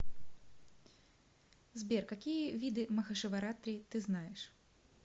сбер какие виды махашиваратри ты знаешь